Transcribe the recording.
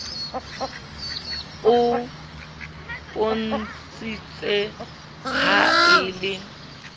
o mpontshitse ha e le